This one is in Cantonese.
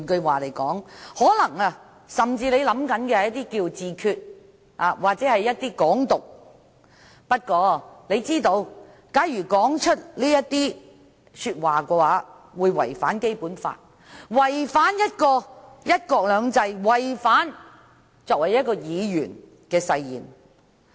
換言之，他甚至可能想自決或"港獨"，但他知道假如說出這些話會違反《基本法》，違反"一國兩制"，違反作為一個議員的誓言。